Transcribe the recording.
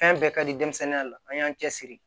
Fɛn bɛɛ ka di denmisɛnninya la an y'an cɛsiri